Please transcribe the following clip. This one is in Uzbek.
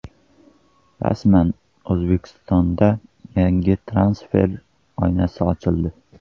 Rasman: O‘zbekistonda yozgi transfer oynasi ochildi.